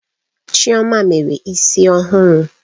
Chioma mere isi ọhụrụ